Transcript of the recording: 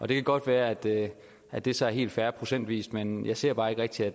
det kan godt være at det at det så er helt fair procentvis men jeg ser bare ikke rigtig at